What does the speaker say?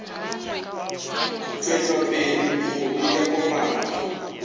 tšwetša pele bokgoni bja kopanya